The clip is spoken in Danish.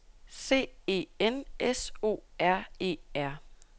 C E N S O R E R